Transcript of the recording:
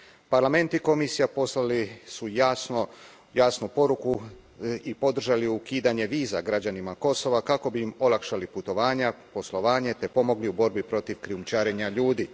Parlament i Komisija poslali su jasnu poruku i podržali ukidanje viza građanima Kosova kako bi im olakšali putovanja, poslovanje te pomogli u borbi protiv krijumčarenja ljudi.